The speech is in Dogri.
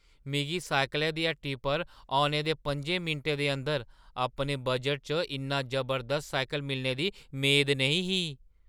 मिगी साइकलै दी हट्टी पर औने दे पं'जें मिंटें दे अंदर अपने बजटै च इन्ना जबरदस्त साइकल मिलने दी मेद नेईं ही।